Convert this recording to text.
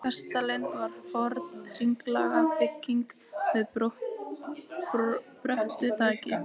Kastalinn var forn hringlaga bygging með bröttu þaki.